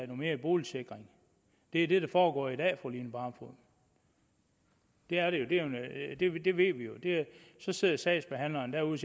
mere i boligsikring det er det der foregår i dag til fru line barfod det er det jo det ved vi jo så sidder sagsbehandleren derude og